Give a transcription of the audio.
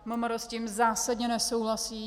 MMR s tím zásadně nesouhlasí.